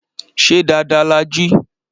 Ṣé dáadáa la jí?